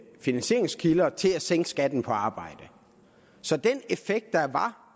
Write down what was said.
finansieringskilder til at sænke skatten på arbejde så den effekt der var